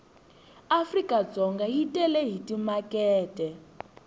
africadzonga yi tele hi timakete